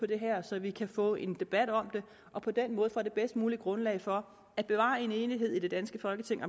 det her så vi kan få en debat om det og på den måde får det bedst mulige grundlag for at bevare en enighed i det danske folketing